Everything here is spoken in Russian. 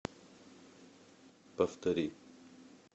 повтори